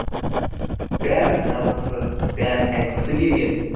бәрін жазғысы бәрін айтқысы келген